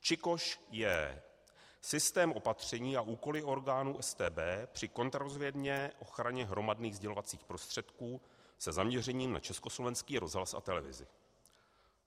ČIKOŠ, J.: Systém opatření a úkoly orgánu StB při kontrarozvědné ochraně hromadných sdělovacích prostředků se zaměřením na Československý rozhlas a televizi.